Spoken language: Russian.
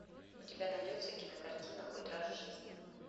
у тебя найдется кинокартина хоть раз в жизни